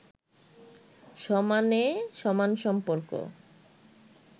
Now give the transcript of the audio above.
সমানে-সমান সম্পর্ক